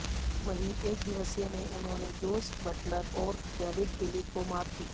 वहीं एकदिवसीय में उन्होंने जोस बटलर और डेविड विली को मात दी